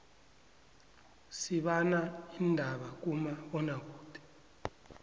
sibana indaba kuma bona kude